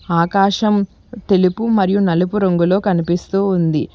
ఆకాశం తెలుపు మరియు నలుపు రంగులో కనిపిస్తూ ఉంది.